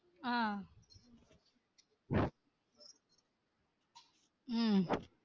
ஆஹ் ஹம்